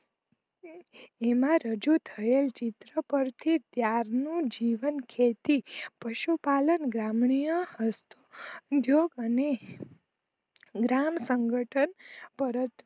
એમાં રજૂ થયેલ પર થી ત્યારનું જીવન ખેતી પશુ પાલન ગ્રામણીય અને ગ્રામ સંગઠન પરત